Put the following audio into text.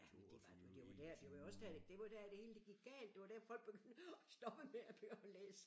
Ja men det var du det var der det var jo også der det var jo der alt det hele det gik galt det var der folk begyndte at stoppe med at læse